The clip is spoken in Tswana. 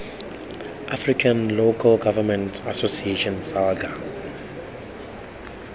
african local government association salga